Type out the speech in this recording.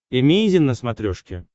эмейзин на смотрешке